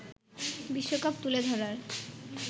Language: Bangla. বিশ্বকাপ তুলে ধরার